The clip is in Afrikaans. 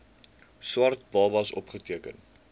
swart babas opgeteken